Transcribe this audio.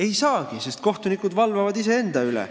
Ei saagi, sest kohtunikud valvavad iseenda üle.